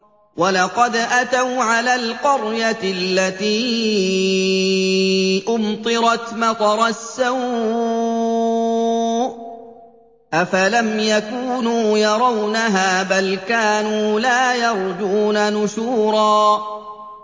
وَلَقَدْ أَتَوْا عَلَى الْقَرْيَةِ الَّتِي أُمْطِرَتْ مَطَرَ السَّوْءِ ۚ أَفَلَمْ يَكُونُوا يَرَوْنَهَا ۚ بَلْ كَانُوا لَا يَرْجُونَ نُشُورًا